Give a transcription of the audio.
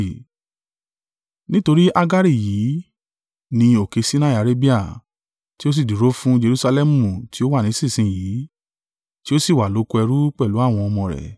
Nítorí Hagari yìí ni òkè Sinai Arabia, tí ó sì dúró fún Jerusalẹmu tí ó wà nísinsin yìí, tí ó sì wà lóko ẹrú pẹ̀lú àwọn ọmọ rẹ̀.